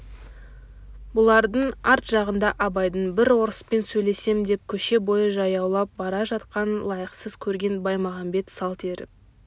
бұлардың арт жағында абайдың бір орыспен сөйлесем деп көше бойы жаяулап бара жатқанын лайықсыз көрген баймағамбет салт еріп